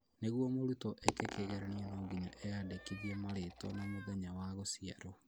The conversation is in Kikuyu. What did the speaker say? Nĩguo mũrutwo eke kĩgeranio no nginya eandĩkithie marĩtwa na mũthenya wa gũciarwo